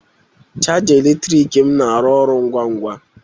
Chaja eletrik m na-arụ ọrụ ngwa ngwa